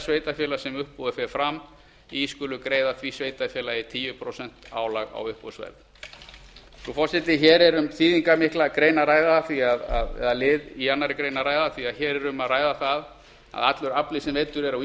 sveitarfélags sem uppboðið fer fram í skulu greiða því sveitarfélagi tíu prósent álag á uppboðsverð frú forseti hér er um þýðingarmikinn lið í annarri grein að ræða því að hér er um það að ræða að allur afli sem veiddur er á